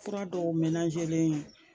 Fura dɔw ye